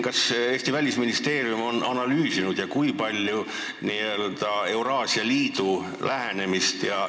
Kas Eesti Välisministeerium on analüüsinud Euraasia Liidu lähenemist?